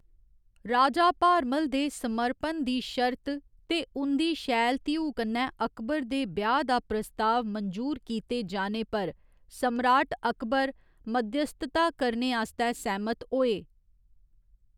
राजा भारमल दे समर्पण दी शर्त ते उं'दी शैल धीऊ कन्नै अकबर दे ब्याह्‌‌ दा प्रस्ताव मंजूर कीते जाने पर सम्राट अकबर मध्यस्थता करने आस्तै सैह्‌‌मत होए।